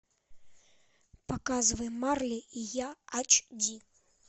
показывай марли и я ач ди